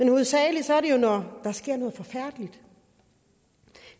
hovedsageligt når der sker noget forfærdeligt